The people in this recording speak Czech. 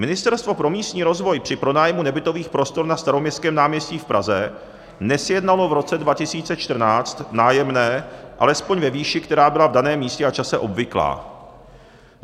Ministerstvo pro místní rozvoj při pronájmu nebytových prostor na Staroměstském náměstí v Praze nesjednalo v roce 2014 nájemné alespoň ve výši, která byla v daném místě a čase obvyklá.